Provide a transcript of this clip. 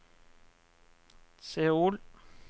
Seoul